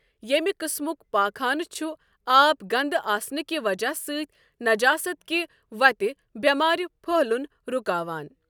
ییٚمہ قٕسمک پاخانہٕ چھ آب گنٛدٕ آسنہٕ کہِ وجہہ سۭتۍ نجاست کہِ وتہِ بٮ۪مار پھٔہلُن رکاوان ۔